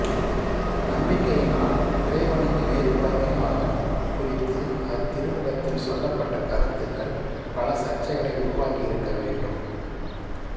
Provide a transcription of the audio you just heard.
நம்பிக்கையினால் இறைவனுக்கு ஏற்புடைமை ஆதல் குறித்து அத்திருமுகத்தில் சொல்லப்பட்ட கருத்துக்கள் பல சர்ச்சைகளை உருவாக்கியிருக்க வேண்டும்